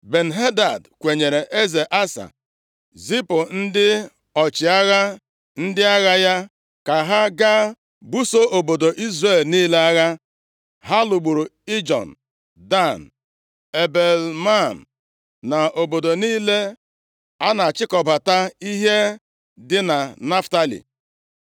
Ben-Hadad kwenyere eze Asa, zipụ ndị ọchịagha ndị agha ya ka ha gaa buso obodo Izrel niile agha. Ha lụgburu Ijon, Dan, Ebel-Maim + 16:4 Aha ọzọ e ji mara ya bụ Ebel-Bet-Maaka na obodo niile a na-achịkọbata ihe dị na Naftalị.